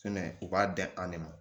Fɛnɛ u b'a dan an de ma